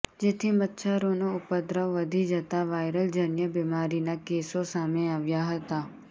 જેથી મચ્છરોનો ઉપદ્રવ વધી જતાં વાઈરલ જન્ય બિમારીના કેસો સામે આવ્યા હતા